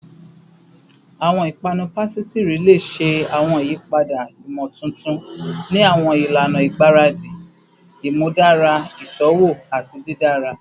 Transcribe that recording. Awọn ipanu pasitiri le ṣe awọn iyipada imotuntun ni awọn ilana igbaradi, imudara itọwo ati didara